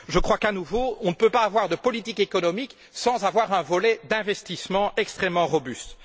Nous ne pouvons pas, à mon sens, avoir de politique économique sans avoir un volet d'investissement extrêmement robuste.